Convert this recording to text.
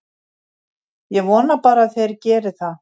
Ég vona bara að þeir geri það.